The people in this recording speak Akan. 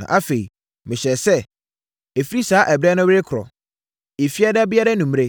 Na afei, mehyɛɛ sɛ, ɛfiri saa ɛberɛ no rekorɔ, Efiada biara anwummerɛ,